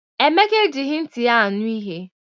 Emeka ejighị nti ya anụ ihe.